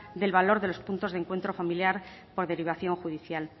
del valor de los puntos de encuentro familiar por derivación judicial